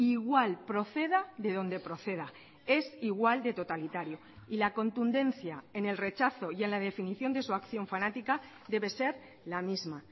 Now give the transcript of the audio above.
igual proceda de donde proceda es igual de totalitario y la contundencia en el rechazo y en la definición de su acción fanática debe ser la misma